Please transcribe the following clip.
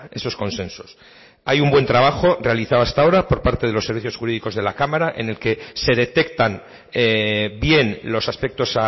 esos consensos hay un buen trabajo realizado hasta ahora por parte de los servicios jurídicos de la cámara en el que se detectan bien los aspectos